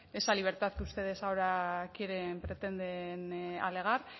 esa libertad que ustedes ahora quieren pretenden alegar